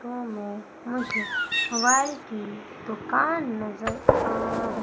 photo में मुझे mobile की दुकान नजर आ र--